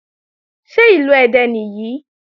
Ṣé Ìlú Ẹdẹ nìyí?